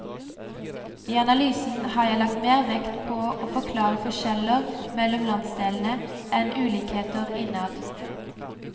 I analysen har jeg lagt mer vekt på å forklare forskjeller mellom landsdelene, enn ulikheter innad.